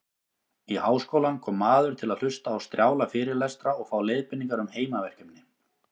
Í háskólann kom maður til að hlusta á strjála fyrirlestra og fá leiðbeiningar um heimaverkefni.